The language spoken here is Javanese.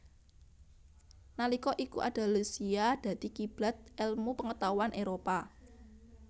Nalika iku Andalusia dadi kiblat elmu pengetahuan Éropah